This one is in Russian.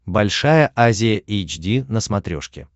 большая азия эйч ди на смотрешке